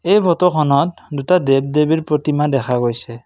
এই ফটোখনত দুটা দেৱ দেৱীৰ প্ৰতিমা দেখা গৈছে।